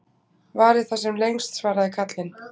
Vari það sem lengst, svaraði karlinn.